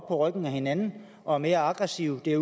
ryggen af hinanden og er mere aggressive det